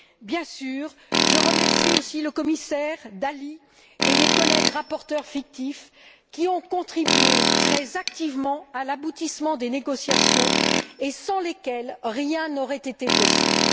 Bien sûr, je remercie également le commissaire Dalli et mes collègues rapporteurs fictifs, qui ont contribué très activement à l'aboutissement des négociations, et sans lesquels rien n'aurait été possible.